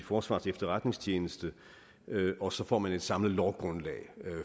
forsvarets efterretningstjeneste og så får man et samlet lovgrundlag